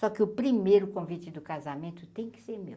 Só que o primeiro convite do casamento tem que ser meu.